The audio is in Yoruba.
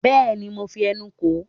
bẹẹni mo fí ẹnu kò ó